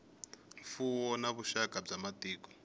mfuwo na vuxaka bya matiko